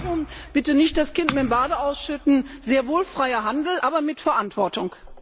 Darum bitte nicht das Kind mit dem Bade ausschütten, sehr wohl freier Handel, aber mit Verantwortung!